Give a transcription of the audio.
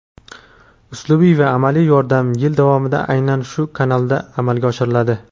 uslubiy va amaliy yordam yil davomida aynan shu kanalda amalga oshiriladi.